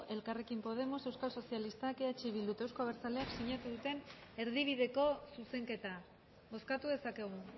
elkarrekin podemos euskal sozialistak eh bildu eta euzko abertzaleak sinatu duten erdibideko zuzenketa bozkatu dezakegu